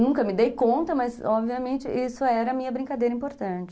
Nunca me dei conta, mas obviamente isso era a minha brincadeira importante.